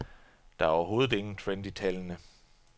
Der er overhovedet ingen trend i tallene.